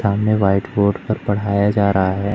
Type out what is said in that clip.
सामने white board पर पढ़ाया जा रहा है।